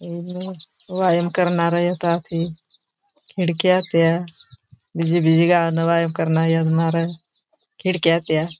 व्यायाम करनार यती खिड़क्या त्या विजीगा वायन करन्या खिड़क्या त्या.